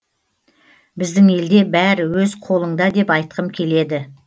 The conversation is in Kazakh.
біздің елде бәрі өз қолыңда деп айтқым келеді